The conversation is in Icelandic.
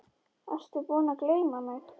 Ertu búinn að gleyma mig?